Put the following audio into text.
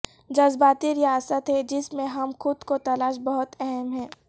جذباتی ریاست ہے جس میں ہم خود کو تلاش بہت اہم ہے